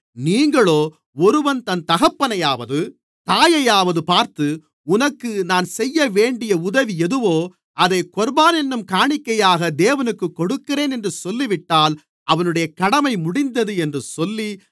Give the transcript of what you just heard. நீங்களோ ஒருவன் தன் தகப்பனையாவது தாயையாவது பார்த்து உனக்கு நான் செய்யவேண்டிய உதவி எதுவோ அதைக் கொர்பான் என்னும் காணிக்கையாக தேவனுக்குக் கொடுக்கிறேன் என்று சொல்லிவிட்டால் அவனுடைய கடமை முடிந்தது என்று சொல்லி